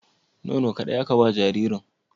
Nono ƙaɗai aka ba jaririn?